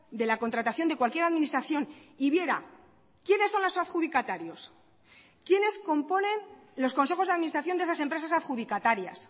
de la contratación de cualquier administración y viera quiénes son los adjudicatarios quiénes componen los consejos de administración de esas empresas adjudicatarias